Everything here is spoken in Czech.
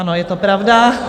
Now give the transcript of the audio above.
Ano, je to pravda.